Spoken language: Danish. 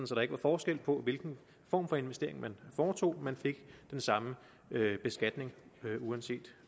så der ikke var forskel på hvilken form for investering man foretog man fik den samme beskatning uanset